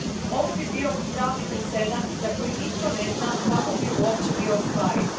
Ovo bi bio pravni presedan za koji nitko ne zna kako bi uopće bio ostvariv.